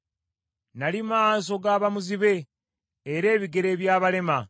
Nnali maaso g’abamuzibe era ebigere by’abalema.